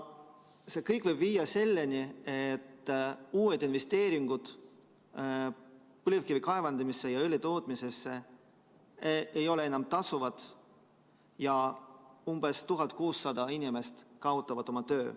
See kõik võib viia selleni, et uued investeeringud põlevkivi kaevandamisse ja õlitootmisesse ei ole enam tasuvad ja umbes 1600 inimest kaotab oma töö.